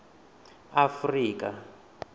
afurika